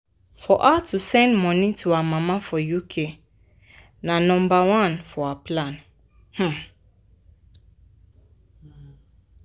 for her to send money to her mama for uk na nomba one for her plans. um